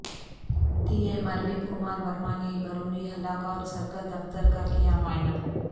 D M Arvind Kumar Verma نے Barauni block اور circle دفتر کا کیا معائنہ